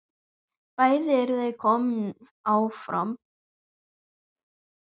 Bæði eru þau komin áfram.